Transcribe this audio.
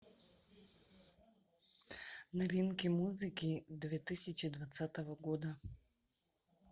новинки музыки две тысячи двадцатого года